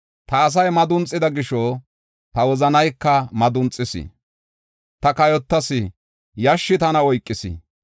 Ta asay madunxida gisho, ta wozanayka madunxis. Ta kayotas; yashshi tana oykis.